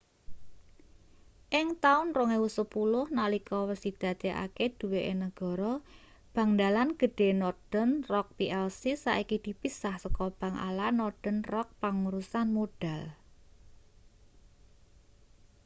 ing taun 2010 nalika wis didadekake duweke negara bank dalan gedhe northern rock plc saiki dipisah saka 'bank ala' northern rock pangurusan modal